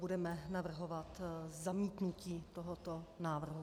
Budeme navrhovat zamítnutí tohoto návrhu.